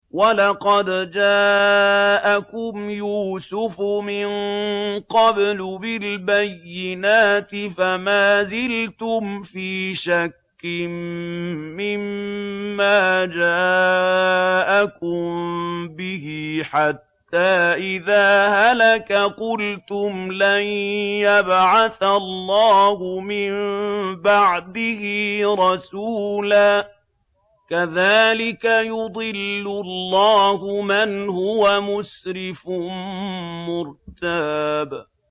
وَلَقَدْ جَاءَكُمْ يُوسُفُ مِن قَبْلُ بِالْبَيِّنَاتِ فَمَا زِلْتُمْ فِي شَكٍّ مِّمَّا جَاءَكُم بِهِ ۖ حَتَّىٰ إِذَا هَلَكَ قُلْتُمْ لَن يَبْعَثَ اللَّهُ مِن بَعْدِهِ رَسُولًا ۚ كَذَٰلِكَ يُضِلُّ اللَّهُ مَنْ هُوَ مُسْرِفٌ مُّرْتَابٌ